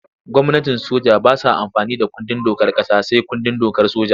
Gwamnatin soja ba sa amfani da kundin dokar ƙasa sai kundin dokar soja.